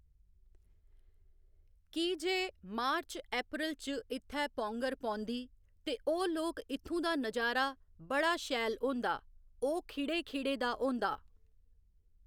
की जे March April च इत्थैं पौंगर पौंदी तो ओह् लोक इत्थूं दा नजारा बड़ा शैल होंदा ओह् खिड़े खिड़े दा होंदा